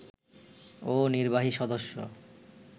ও নির্বাহী সদস্য